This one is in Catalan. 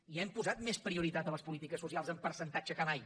ja hem posat més prioritat a les polítiques socials en percentatge que mai